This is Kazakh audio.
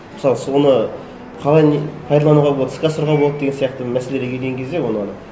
мысалы соны қалай не пайдалануға болады іске асыруға болады деген сияқты мәселелерге келген кезде оны